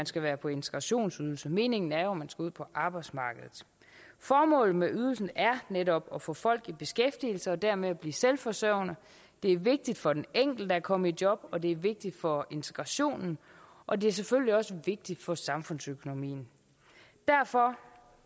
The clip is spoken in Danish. skal være på integrationsydelse meningen er jo at man skal ud på arbejdsmarkedet formålet med ydelsen er netop at få folk i beskæftigelse og dermed at blive selvforsørgende det er vigtigt for den enkelte at komme i job og det er vigtigt for integrationen og det er selvfølgelig også vigtigt for samfundsøkonomien derfor